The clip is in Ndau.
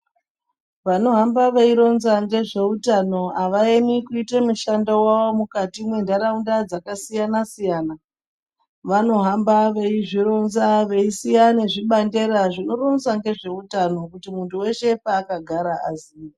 Vanohamba veironza ngezveutano avaemi kuite mushando wawo mukati mwentaraunda dzakasiyana siyana vanohamba veizvironza veisiya nezvibangedra zvinoronza ngezveutano kuti muntu weshe paakagara aziye.